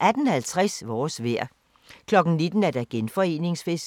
18:50: Vores vejr 19:00: Genforeningsfest